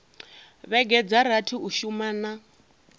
vhege dza rathi u shumana